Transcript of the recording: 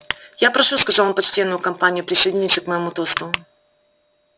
я прошу сказал он почтенную компанию присоединиться к моему тосту